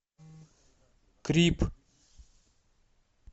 крип